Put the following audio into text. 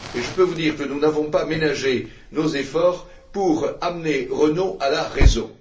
Je peux vous dire que nous n'avons pas ménagé nos efforts pour ramener Renault à la raison.